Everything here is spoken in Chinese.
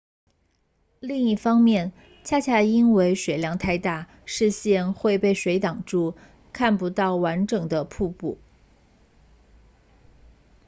另一方面恰恰因为水量太大视线会被水挡住看不到完整的瀑布